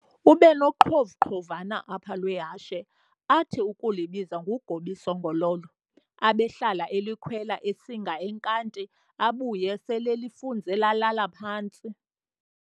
Ubenoqhovuqhovana apha lwehashe athi ukulibiza ngu-"Gob'isongololo", abehlala elikhwela esinga enkanti abuye selel'ifunze lalala phantsi.